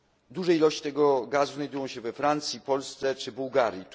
Duże ilości tego gazu znajdują się we Francji, Polsce czy Bułgarii.